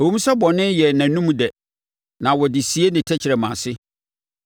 “Ɛwom sɛ bɔne yɛ nʼanom dɛ na ɔde sie ne tɛkrɛma ase;